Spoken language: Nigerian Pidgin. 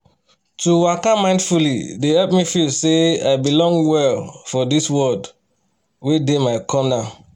to waka mindfully dey help me feel say i belong well for this world wey dey my corner